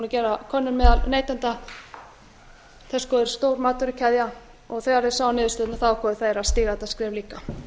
gera könnun meðal neytenda pepsico er stór matvörukeðja og þeir þeir sáu niðurstöðuna þá fóru þeir að stíga þetta skref líka